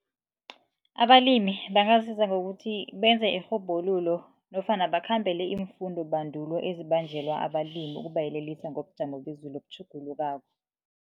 Abalimi bangazuza ngokuthi benze irhubhululo nofana bakhambele iimfundobandulo ezibanjelwa abalimi ngokubayelelisa ngobujamo bezulu obutjhugulukako.